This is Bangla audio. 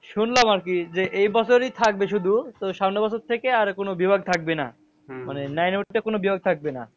শুনলাম আরকি যে এইবছরই থাকবে শুধু তো সামনের বছর থেকে আর কোনো বিভাগ থাকবে না। মানে nine এ উঠলে কোনো বিভাগ থাকবে না।